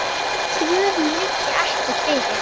Svörin liggja ekki fyrir.